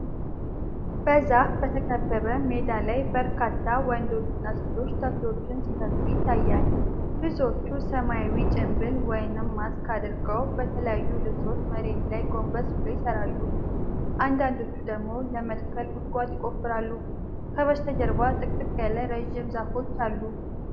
በዛፍ በተከበበ ሜዳ ላይ በርካታ ወንዶችና ሴቶች ተክሎችን ሲተክሉ ይታያል። ብዙዎቹ ሰማያዊ ጭንብል (ማስክ) አድርገው በተለያዩ ልብሶች መሬት ላይ ጎንበስ ብለው ይሠራሉ። አንዳንዶቹ ደግሞ ለመትከል ጉድጓድ ይቆፍራሉ፤ ከበስተጀርባ ጥቅጥቅ ያሉ ረጅም ዛፎች አሉ።